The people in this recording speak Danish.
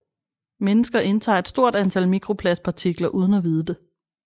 Mennesker indtager et stort antal mikroplastpartikler uden at vide det